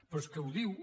però és que ho diu